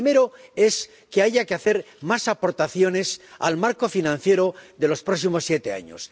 El primero es que haya que hacer más aportaciones al marco financiero de los próximos siete años.